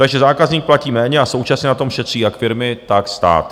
Takže zákazník platí méně a současně na tom šetří jak firmy, tak stát.